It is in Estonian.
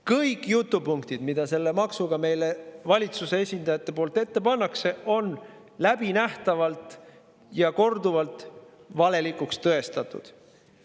Kõik jutupunktid, mida valitsuse esindajad selle maksu kohta meie ette panevad, on korduvalt tõestatult, läbinähtavalt valelikud.